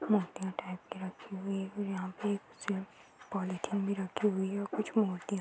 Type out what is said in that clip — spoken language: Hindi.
मूर्तियां टांग के रखी हुई है और यहाँ पे एक से पॉलिथीन भी रखी हुई है और कुछ मूर्तियां --